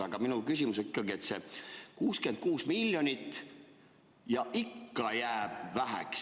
Aga minu küsimus on ikkagi, et see 66 miljonit ja ikka jääb väheks.